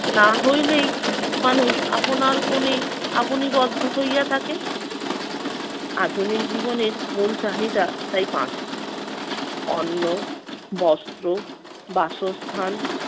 না হইলেই মানুষ আপনার কোনে আপনি বদ্ধ হইয়া থাকে। আধুনিক জীবনের মূল চাহিদা তাই পাঁচটি। অন্ন, বস্ত্র, বাসস্থান,